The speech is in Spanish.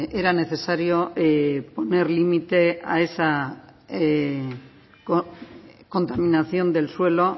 era necesario poner límite a esa contaminación del suelo